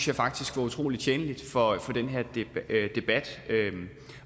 jeg faktisk var utrolig tjenlig for den her debat